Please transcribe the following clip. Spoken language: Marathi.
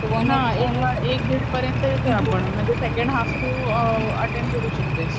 तर एक दीड पर्यंत येतोय आपण म्हणजे सेकंड हाल्फ तू अटेंड करू शकतेस.